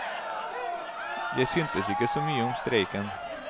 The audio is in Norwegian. Jeg synes ikke så mye om streiken.